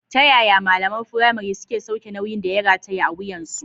Ta yaya malaman firamare suke sauke nauyin da ya rataya a wuyansu?